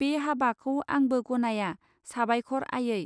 बे हाबाखौ आंबो गनाया साबायखर आयै